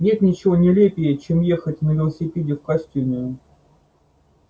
нет ничего нелепее чем ехать на велосипеде в костюме